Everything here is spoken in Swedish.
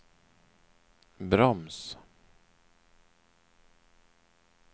broms